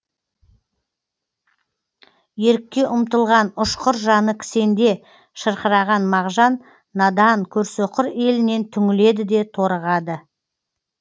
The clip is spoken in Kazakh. ерікке ұмтылған ұшқыр жаны кісенде шырқыраған мағжан надан көрсөқыр елінен түңіледі де торығады